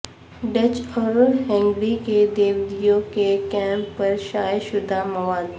Dutch اور Hungary کے یہودیوں کے کیمپ پر شائع شدہ مواد